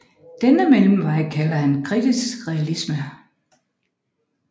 Denne mellemvej kalder han kritisk realisme